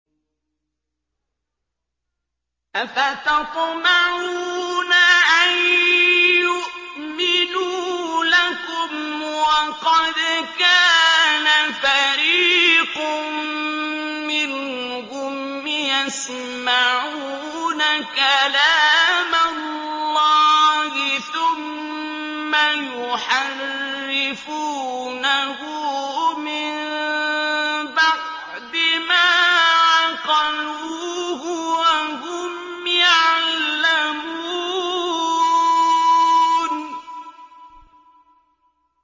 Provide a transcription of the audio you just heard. ۞ أَفَتَطْمَعُونَ أَن يُؤْمِنُوا لَكُمْ وَقَدْ كَانَ فَرِيقٌ مِّنْهُمْ يَسْمَعُونَ كَلَامَ اللَّهِ ثُمَّ يُحَرِّفُونَهُ مِن بَعْدِ مَا عَقَلُوهُ وَهُمْ يَعْلَمُونَ